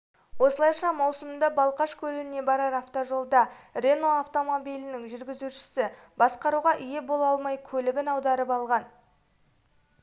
осылайша маусымда балқаш көліне барар автожолда рено автомобилінің жүргізушісі басқаруға ие бола алмай көлігін аударып алған